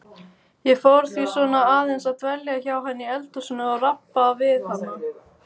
Ég fór því svona aðeins að dvelja hjá henni í eldhúsinu og rabba við hana.